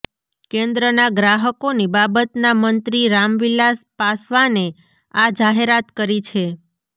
કેન્દ્રના ગ્રાહકોની બાબતના મંત્રી રામવિલાસ પાસવાને આ જાહેરાત કરી છે